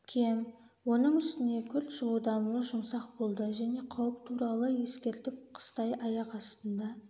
кем оның үстіне күрт жылудан мұз жұмсақ болды және қауіп туралы ескертіп қыстай аяқ астында